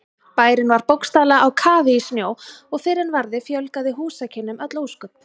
Bærinn var bókstaflega á kafi í snjó og fyrr en varði fjölgaði húsakynnum öll ósköp.